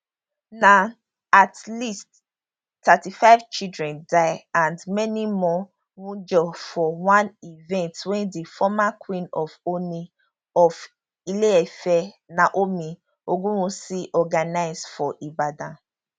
na at least thirty five children die and many more wunjurefor one event wey di former queen of ooni of ileife naomi ogunwusi organise for ibadan